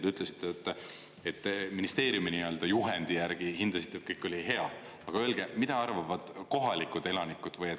Te ütlesite, et te ministeeriumi nii-öelda juhendi järgi hindasite, et kõik oli hea, aga öelge, mida arvavad kohalikud elanikud.